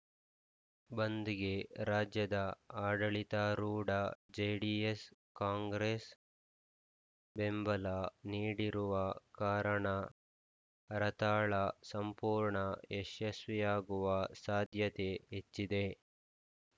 ಬಂದ್‌ಗೆ ರಾಜ್ಯದ ಆಡಳಿತಾರೂಢ ಜೆಡಿಎಸ್‌ಕಾಂಗ್ರೆಸ್‌ ಬೆಂಬಲ ನೀಡಿರುವ ಕಾರಣ ಹರತಾಳ ಸಂಪೂರ್ಣ ಯಶಸ್ವಿಯಾಗುವ ಸಾಧ್ಯತೆ ಹೆಚ್ಚಿದೆ